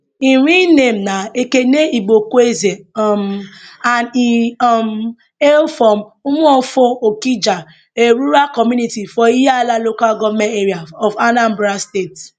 im real names na ekene igboekweze um and e um hail from umuofo okija a rural community for ihiala local goment area of anambra state